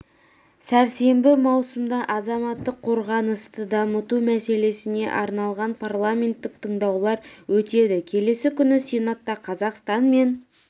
сәрсенбі маусымда азаматтық қорғанысты дамыту мәселесіне арналған парламенттік тыңдаулар өтеді келесі күні сенатта қазақстан мен